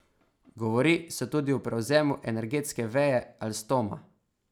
Govori se tudi o prevzemu energetske veje Alstoma.